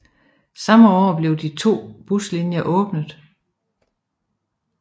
Samme år blev de første to buslinjer åbnet